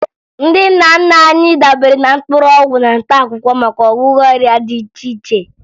Ndị nna nna anyị dabere na mgbọrọgwụ na mkpaakwụkwọ maka ọgwụgwọ ọrịa dị iche iche